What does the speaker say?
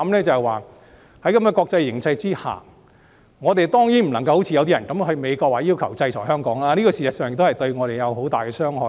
在這國際形勢下，我們當然不應該像某些人一樣，到美國要求制裁香港，因為這事實上對香港會有很大傷害。